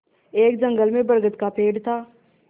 एक जंगल में बरगद का पेड़ था